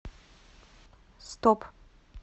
стоп